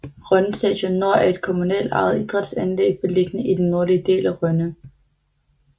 Rønne Stadion Nord er et kommunalt ejet idrætsanlæg beliggende i den nordlige del af Rønne